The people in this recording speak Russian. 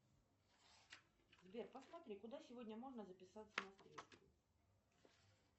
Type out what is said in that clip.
сбер посмотри куда сегодня можно записаться на стрижку